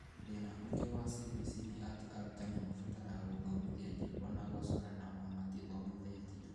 Thĩna ũngĩ wa CBC nĩ atĩ arutani mabataraga gũthomithia nyĩmbo na gũcora na ao matithomithitio